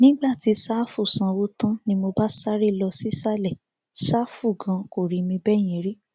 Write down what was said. nígbà tí sáfù sanwó tán ni mo bá sáré lọ sísàlẹ ṣàfù ganan kò rí mi bẹẹ yẹn rí